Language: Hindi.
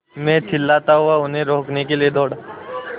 मैं चिल्लाता हुआ उन्हें रोकने के लिए दौड़ा